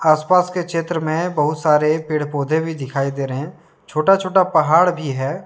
आसपास के क्षेत्र में बहुत सारे पेड़- पौधे भी दिखाई दे रहे छोटा- छोटा पहाड़ भी है।